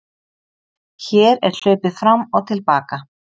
Hér er hlaupið fram og til baka.